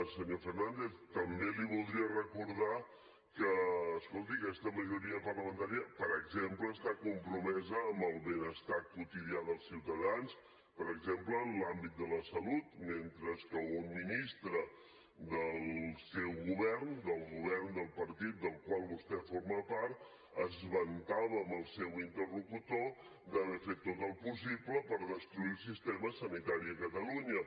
senyor fernández també li voldria recordar que escolti aquesta majoria parlamentària per exemple està compromesa amb el benestar quotidià dels ciutadans per exemple en l’àmbit de la salut mentre que un ministre del seu govern del govern del partit del qual vostè forma part es vantava amb el seu interlocutor d’haver fet tot el possible per destruir el sistema sanitari a catalunya